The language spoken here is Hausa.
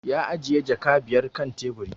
Ya ajiye jaka biyar kan tebur